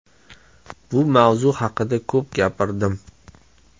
Bu mavzu haqida ko‘p gapirdim.